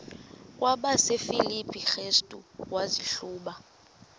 kwabasefilipi restu wazihluba